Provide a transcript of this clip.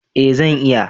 eh zan iya